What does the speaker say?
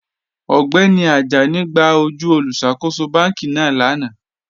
Ọgbẹ́ni Àjánì gbà ojú olùṣákòsò bánkì náà lánà.